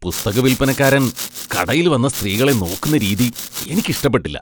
പുസ്തക വിൽപ്പനക്കാരൻ കടയിൽ വന്ന സ്ത്രീകളെ നോക്കുന്ന രീതി എനിക്ക് ഇഷ്ടപ്പെട്ടില്ല .